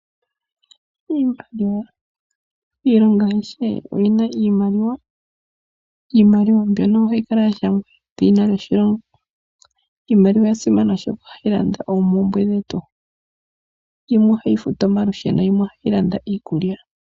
Iimaliwa, iilongo oyindji oyina iimaliwa niimaliwa mbyoka ohayi kala ya shangwa edhina lyoshilongo. Iimaliwa oya simana, oshoka ohayi landa oompumbwe dhetu, yimwe ohayi futu omalusheno yimwe ohayi landa iikulya.